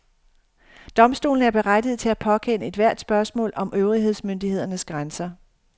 Domstolene er berettigede til at påkende ethvert spørgsmål om øvrighedsmyndighedernes grænser.